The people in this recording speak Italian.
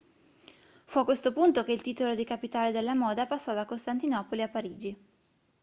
fu a questo punto che il titolo di capitale della moda passò da costantinopoli a parigi